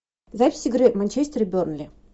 запись игры манчестер бернли